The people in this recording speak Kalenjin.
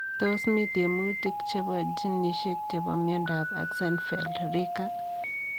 Tos mi tiemutik chepoo ginisiek chepo miondoop Axenfeld Rieker?